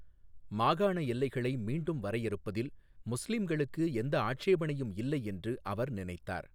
மாகாண எல்லைகளை மீண்டும் வரையறுப்பதில் முஸ்லிம்களுக்கு எந்த ஆட்சேபனையும் இல்லை என்று அவர் நினைத்தார்.